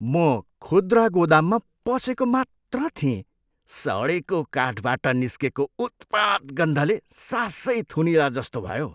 म खुद्रा गोदाममा पसेको मात्र थिएँ, सडेको काठबाट निस्केको उत्पात गन्धले सासै थुनिएलाजस्तो भयो।